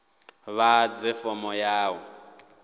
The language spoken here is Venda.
vha ḓadze fomo ya u